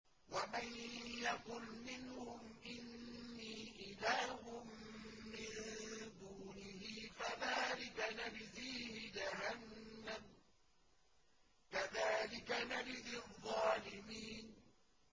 ۞ وَمَن يَقُلْ مِنْهُمْ إِنِّي إِلَٰهٌ مِّن دُونِهِ فَذَٰلِكَ نَجْزِيهِ جَهَنَّمَ ۚ كَذَٰلِكَ نَجْزِي الظَّالِمِينَ